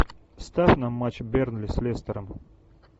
ставь нам матч бернли с лестером